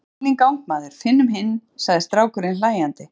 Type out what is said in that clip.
Settu bílinn í gang maður, finnum hinn, sagði strákurinn hlæjandi.